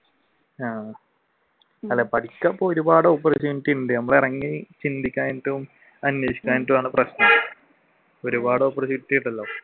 ആഹ് അല്ലെ പഠിക്കുന്നവർക്ക് ഒരുപാട് opportunity ഉണ്ട് നമ്മൾ ഇറങ്ങി ചിന്തിക്കാനിട്ടും അന്വേഷിക്കാനിട്ടും ആണ് പ്രശ്നം ഒരുപാട് opportunity ഉണ്ടല്ലോ?